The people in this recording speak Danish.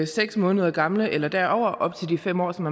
seks måneder gamle eller derover op til de fem år som